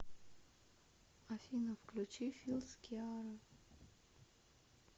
афина включи филс киара